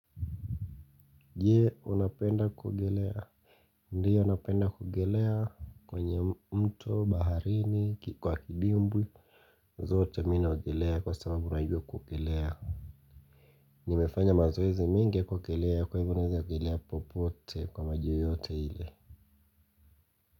Je unapenda kuogelea Ndiyo napenda kuogelea kwenye mto baharini kwa kidimbwi zote mi naogelea kwa sababu najua kuogelea nimefanya mazoezi mingi ya kuogelea kwa hivyo naweza ogelea popote kwa maji yote ile.